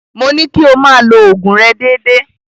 Mo ní kí o máa lo òògùn rẹ déédéé.